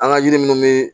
An ka yiri munnu be